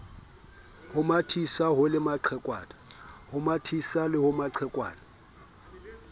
le mathisa ho le maqhekwana